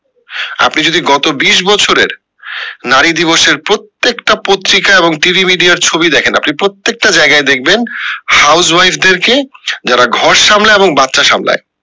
আপনি যদি গত বিশ বছরের নারী দিবসের প্রত্যেকটা পত্রিকায় এবংটিভি media ছবি দেখেন আপনি প্রত্যেকটা জায়গায় দেখবেন house wife দের কে যারা ঘর সামলায় এবং বাচ্চা সামলায়